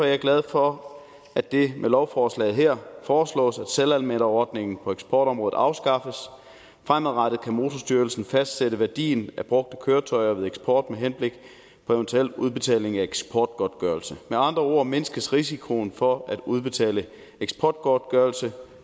jeg glad for at det med lovforslaget her foreslås at selvanmelderordningen på eksportområdet afskaffes fremadrettet kan motorstyrelsen fastsætte værdien af brugte køretøjer ved eksport med henblik på eventuel udbetaling af eksportgodtgørelse med andre ord mindskes risikoen for at udbetale eksportgodtgørelse